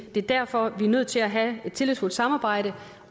er derfor vi er nødt til at have et tillidsfuldt samarbejde